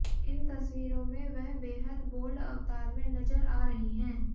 इन तस्वीरों में वह बेहद बोल्ड अवतार में नजर आ रहीं हैं